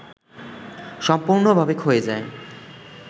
সম্পূর্ণ‌ভাবে ক্ষয়ে যায়